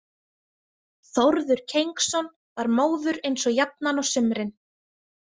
Þórður Kengsson var móður eins og jafnan á sumrin.